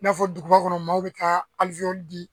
I n'a fɔ duguba kɔnɔ maaw bɛ taa di